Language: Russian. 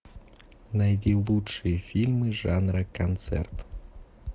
найди лучшие фильмы жанра концерт